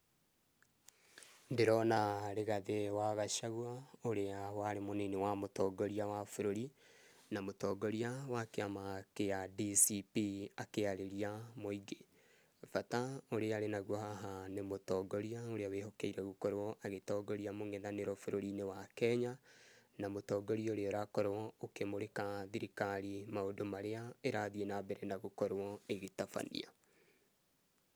Ndĩrona Rigathĩ wa Gachagua, ũrĩa warĩ mũnini wa mũtongoria wa bũrũri, na mũtongoria wa kĩama gĩa DCP akĩarĩria mũingĩ, bata ũrĩa arĩ naguo haha nĩ mũtongoria ũrĩa wĩhokeirwo gũkorwo agĩtongoria mũng'ethanĩro bũrũrĩ-inĩ wa Kenya, na mũtongoria ũrĩa ũrakorwo ũkĩmũrĩka thirikari maũndũ marĩa ĩrathiĩ na mbere na gũkorwo ĩgĩtabania.